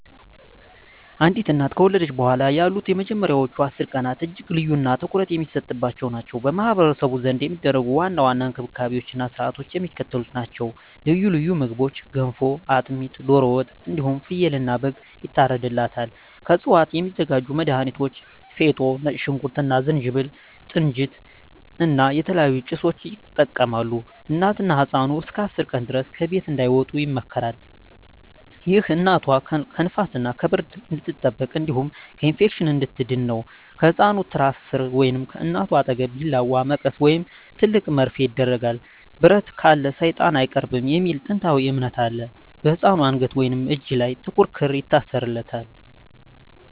አንዲት እናት ከወለደች በኋላ ያሉት የመጀመሪያዎቹ 10 ቀናት እጅግ ልዩና ትኩረት የሚሰጥባቸው ናቸው። በማኅበረሰቡ ዘንድ የሚደረጉ ዋና ዋና እንክብካቤዎችና ሥርዓቶች የሚከተሉት ናቸው፦ ልዩ ልዩ ምግቦች ገንፎ፣ አጥሚት፣ ዶሮ ወጥ እንዲሁም ፍየልና በግ ይታርድላታል። ከእፅዋት የሚዘጋጁ መድሀኒቶች ፌጦ፣ ነጭ ሽንኩርት እና ዝንጅብል፣ ጥንጅት እና የተለያዩ ጭሶችን ይጠቀማሉ። እናትና ህፃኑ እስከ 10 ቀን ድረስ ከቤት እንዳይወጡ ይመከራል። ይህ እናቷ ከንፋስና ከብርድ እንድትጠበቅ እንዲሁም ከኢንፌክሽን እንድትድን ነው። ከህፃኑ ትራስ ሥር ወይም ከእናቷ አጠገብ ቢላዋ፣ መቀስ ወይም ትልቅ መርፌ ይደረጋል። "ብረት ካለ ሰይጣን አይቀርብም" የሚል ጥንታዊ እምነት አለ። በህፃኑ አንገት ወይም እጅ ላይ ጥቁር ክር ይታሰራል።